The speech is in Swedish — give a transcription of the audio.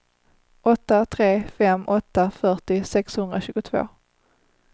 åtta tre fem åtta fyrtio sexhundratjugotvå